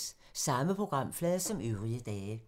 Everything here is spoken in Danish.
Samme programflade som øvrige dage